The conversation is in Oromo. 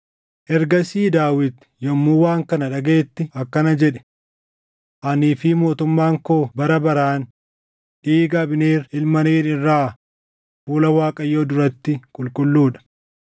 Yeroo Abneer Kebroonitti deebiʼettis Yooʼaab waan kophaatti isa wajjin haasaʼuu barbaade fakkeessee gara karraatti isa baase. Achittis haaloo dhiiga obboleessa isaa Asaaheel baasuuf garaa keessa isa waraane; innis ni duʼe.